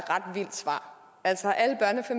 ret vildt svar altså at